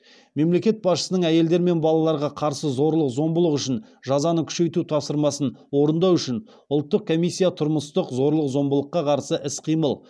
мемлекет басшысының әйелдер мен балаларға қарсы зорлық зомбылық үшін жазаны күшейту тапсырмасын орындау үшін ұлттық комиссия тұрмыстық зорлық зомбылыққа қарсы іс қимыл